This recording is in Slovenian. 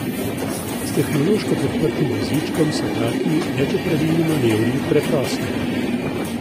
S tehnološko podprtim vozičkom so taki večopravilni manevri preprosti.